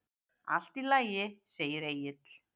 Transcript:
Allt í lagi, segir Egill.